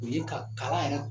U ye ka kala